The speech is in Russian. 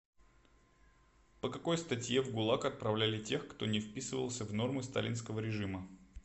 по какой статье в гулаг отправляли тех кто не вписывался в нормы сталинского режима